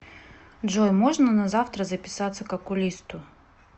джой можно на завтра записаться к окулисту